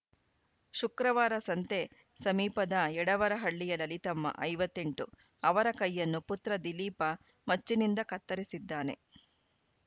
ಶುಕ್ರವಾರ ಸಂತೆ ಸಮೀಪದ ಯಡೆವರ ಹಳ್ಳಿಯ ಲಲಿತಮ್ಮ ಐವತ್ತ್ ಎಂಟು ಅವರ ಕೈಯನ್ನು ಪುತ್ರ ದಿಲೀಪ ಮಚ್ಚಿನಿಂದ ಕತ್ತರಿಸಿದ್ದಾನೆ